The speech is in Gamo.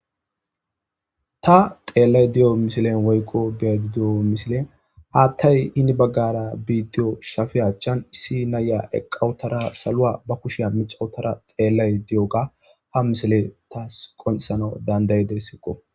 ta xeellay di7o misilen woykko be di7o misilen haattay hini baggara biidiyo shafe achchan issi naya eqqawutara salua ba kushiya mixawutara xeellay di7oga ha misile taas qonisano dandaydessekko